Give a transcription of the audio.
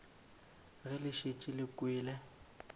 ge le šetše le kwele